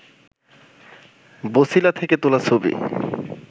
বছিলা থেকে তোলা ছবি